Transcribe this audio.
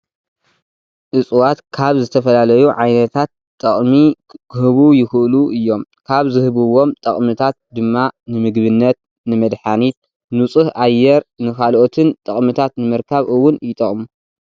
እፅዋት ካብ ዝተፈላለዩዓይነታት ጠቅሚ ክህቡ ይክእሉ እዮም ካብ ዝህብዎም ጠቅምታት ድማ ንምግብነት ፣ንመድሓኒት፣ ኑፁህ ኣየር ንካሎኦትን ጠቅምታት ንምርካብ እውን ይጠቅሙ።